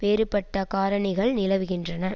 வேறுபட்ட காரணிகள் நிலவுகின்றன